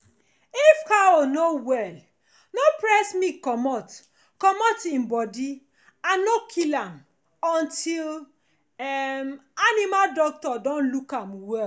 if cow no well no press milk comot comot e body and no kill am until um animal doctor don look am well